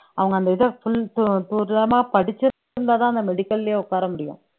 அவங்க அந்த இதை full படிச்சு இருந்தாதான் அந்த medical லயே உட்கார முடியும்